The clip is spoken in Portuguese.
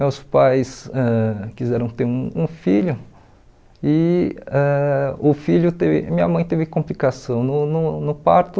Meus pais ãh quiseram ter um um filho e ãh o filho teve minha mãe teve complicação no no no parto